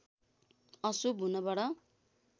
अशुभ हुनबाट